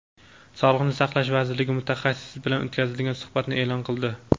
Sog‘liqni saqlash vazirligi mutaxassis bilan o‘tkazilgan suhbatni e’lon qildi.